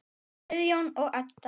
Guðjón og Edda.